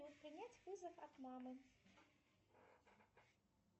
принять вызов от мамы